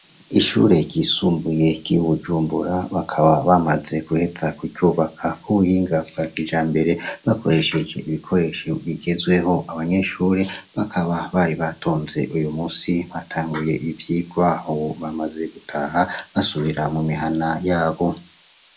Ishure ryisumbuye ry'i Bujumbura bakaba bamaze guheza kuryubaka ku buhinga bwa kijambere bakoresheje ibikoresho bigezweho, abanyeshure bakaba bari batonze uyu musi batanguye ivyigwa, ubu bamaze gutaha basubira mu mihana yabo.